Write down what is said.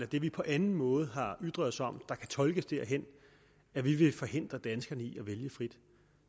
det vi på anden måde har ytret os om der kan tolkes derhen at vi vil forhindre danskerne i at vælge frit